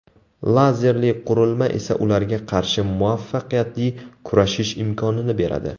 Lazerli qurilma esa ularga qarshi muvaffaqiyatli kurashish imkonini beradi.